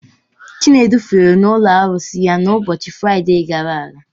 Chinedu fere n'ụlọ arụsị ya n'ụbọchị Fraide gara aga.